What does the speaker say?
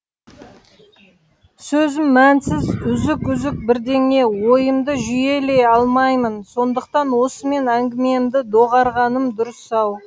сөзім мәнсіз үзік үзік бірдеңе ойымды жүйелей алмаймын сондықтан осымен әңгімемді доғарғаным дұрыс ау